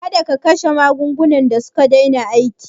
Kada kasha magungunan da suka daina aiki